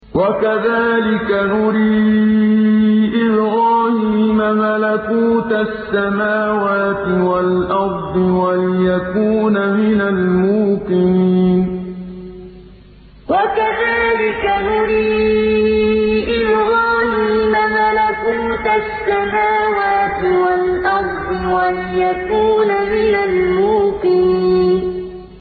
وَكَذَٰلِكَ نُرِي إِبْرَاهِيمَ مَلَكُوتَ السَّمَاوَاتِ وَالْأَرْضِ وَلِيَكُونَ مِنَ الْمُوقِنِينَ وَكَذَٰلِكَ نُرِي إِبْرَاهِيمَ مَلَكُوتَ السَّمَاوَاتِ وَالْأَرْضِ وَلِيَكُونَ مِنَ الْمُوقِنِينَ